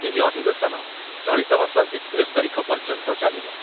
ଏହି ଅଧିବେଶନ ଚଳିତ ମାସ ଏକତିରିଶ ତାରିଖ ପର୍ଯ୍ୟନ୍ତ ଚାଲିବ।